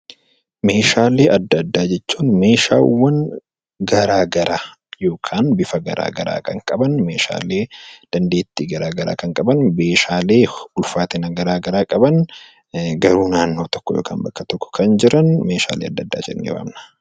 Meeshaalee adda addaa jechuun meeshaalee garaagaraa yookaan bifa garaagaraa kan qaban dandeettii garaagaraa kan qaban meeshaalee ulfaatina garaagaraa qaban garuu bakka tokko kan jiran meeshalee adda addaa jennee waamna.